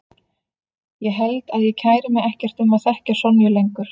Ég held að ég kæri mig ekkert um að þekkja Sonju lengur.